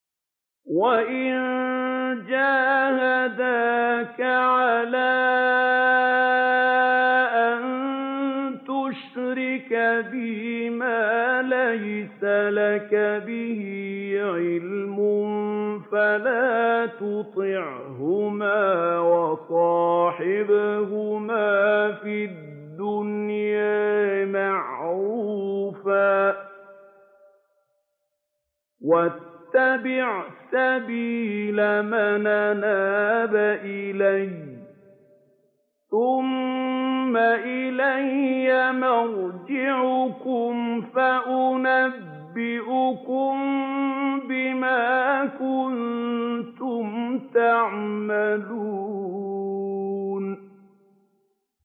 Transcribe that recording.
وَإِن جَاهَدَاكَ عَلَىٰ أَن تُشْرِكَ بِي مَا لَيْسَ لَكَ بِهِ عِلْمٌ فَلَا تُطِعْهُمَا ۖ وَصَاحِبْهُمَا فِي الدُّنْيَا مَعْرُوفًا ۖ وَاتَّبِعْ سَبِيلَ مَنْ أَنَابَ إِلَيَّ ۚ ثُمَّ إِلَيَّ مَرْجِعُكُمْ فَأُنَبِّئُكُم بِمَا كُنتُمْ تَعْمَلُونَ